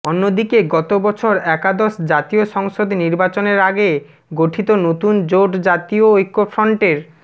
অন্যদিকে গত বছর একাদশ জাতীয় সংসদ নির্বাচনের আগে গঠিত নতুন জোট জাতীয় ঐক্যফ্রন্টের